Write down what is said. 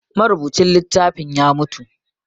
Marubucin littafin ya mutu